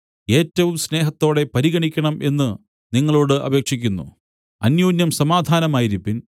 ഏറ്റവും സ്നേഹത്തോടെ പരിഗണിക്കണം എന്നു നിങ്ങളോടു അപേക്ഷിക്കുന്നു അന്യോന്യം സമാധാനമായിരിപ്പിൻ